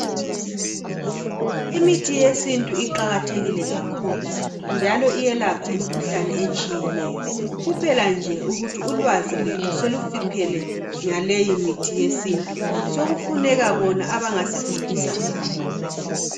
Imithi yesintu iqakathekile kakhulu, njalo iyelapha imikhuhlane etshiyeneyo. Kuphela nje ukuthi ulwazi lwethu selufiphele ngaleyi mithi yesintu. Sekufuneka bona abangasifundisa ngayo.